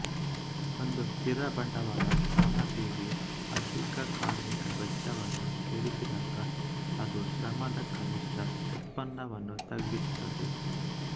ಒಂದು ಸ್ಥಿರ ಬಂಡವಾಳ ಸಾಮಗ್ರಿಗೆ ಅಧಿಕ ಕಾರ್ಮಿಕ ವೆಚ್ಚವನ್ನು ಸೇರಿಸಿದಾಗ ಅದು ಶ್ರಮದ ಕನಿಷ್ಠ ಉತ್ಪನ್ನವನ್ನು ತಗ್ಗಿಸುತ್ತದೆ